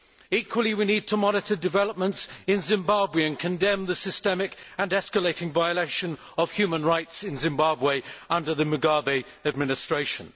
Equally, we need to monitor developments in Zimbabwe and condemn the systemic and escalating violation of human rights in Zimbabwe under the Mugabe administration.